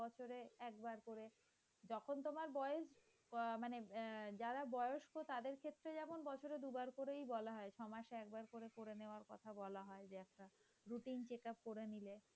তখন তোমার বয়স এ মানে আহ যারা বয়স্ক তাদের ক্ষেত্রে যেমন বছরে দুবার করেই বলা হয়। ছয় মাসে একবার করে করে নেওয়ার কথা বলা হয় ।যে routine check up করে নিলে।